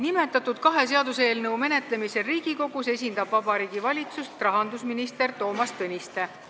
Nimetatud kahe seaduseelnõu menetlemisel Riigikogus esindab Vabariigi Valitsust rahandusminister Toomas Tõniste.